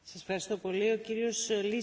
Dziękuję bardzo, Pani Przewodnicząca.